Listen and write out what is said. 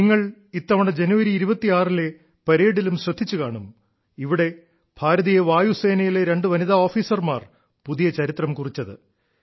നിങ്ങൾ ഇത്തവണ ജനുവരി 26 ലെ പരേഡിലും ശ്രദ്ധിച്ചുകാണും ഇവിടെ ഭാരതീയ വായുസേനയിലെ രണ്ട് വനിതാ ഓഫീസർമാർ പുതിയ ചരിത്രം കുറിച്ചത്